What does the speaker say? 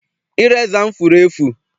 Ireza m furu efu.